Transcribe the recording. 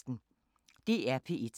DR P1